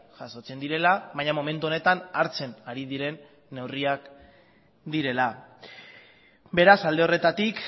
jasotzen direla baina momentu honetan hartzen ari diren neurriak direla beraz alde horretatik